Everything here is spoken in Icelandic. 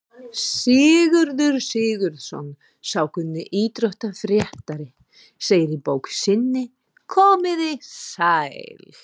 Sigurður Sigurðsson, sá kunni íþróttafréttaritari, segir í bók sinni Komiði sæl!